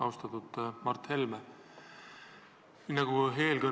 Austatud Mart Helme!